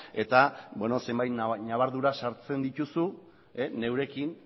eta zenbait nabardura sartzen dituzu neurekin